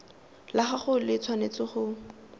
la gagwe le tshwanetse go